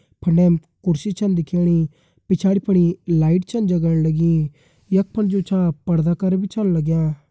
फंडेम कुर्सी छन दिखेणी पिछाड़ि फणी लाइट छन जगण लगीं। यक फुंड जु छा पर्दा कर बि छन लग्यां।